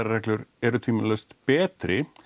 reglur eru tvímælalaust betri